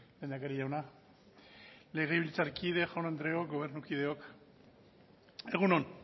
lehendakari jauna legebiltzarkide jaun andreok gobernukideok egun on